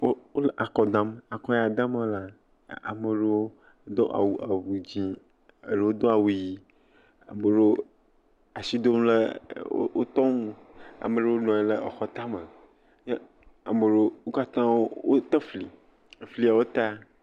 Wole akɔ dam. Ako ya dam wolea, ame aɖewo do awu eʋu dzɛ. Eɖewo Do awu ɣi. Wo asi dem ɖe woƒe nu. Ame aɖewo nɔ anyi ɖe aƒe tame eye wo katã wote fli. Efliawo ta.